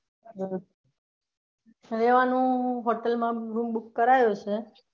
રેવાનું Hotel માં room book કરાયો છે.